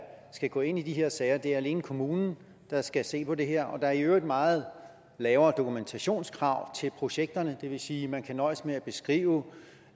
skal gå ind i de her sager det er alene kommunen der skal se på det her og der er i øvrigt meget lavere dokumentationskrav til projekterne det vil sige at man kan nøjes med at skrive